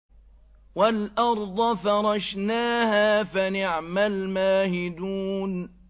وَالْأَرْضَ فَرَشْنَاهَا فَنِعْمَ الْمَاهِدُونَ